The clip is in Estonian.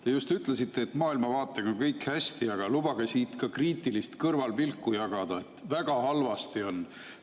Te just ütlesite, et maailmavaatega on kõik hästi, aga lubage siit ka kriitilist kõrvalpilku jagada: väga halvasti on.